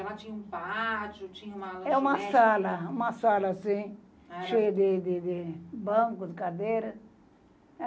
Ela tinha um pátio, tinha uma... É uma sala, uma sala assim, cheia de de de bancos, cadeiras.